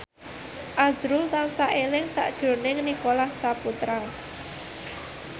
azrul tansah eling sakjroning Nicholas Saputra